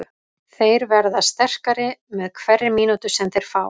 Þeir verða sterkari með hverri mínútu sem þeir fá.